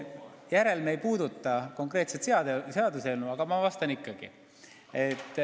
Minu järeldused ei puuduta konkreetset seaduseelnõu, aga ma vastan ikkagi.